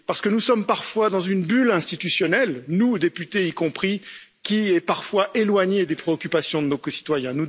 En effet, nous sommes dans une bulle institutionnelle, nous députés y compris, qui est parfois éloignée des préoccupations de nos concitoyens.